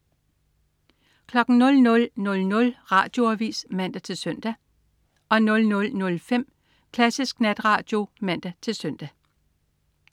00.00 Radioavis (man-søn) 00.05 Klassisk Natradio (man-søn)